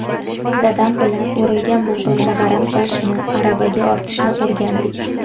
Dadam bilan o‘rilgan bug‘doyni g‘aram qilishni, aravaga ortishni o‘rgandik.